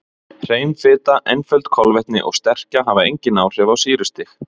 Hrein fita, einföld kolvetni og sterkja hafa engin áhrif á sýrustig.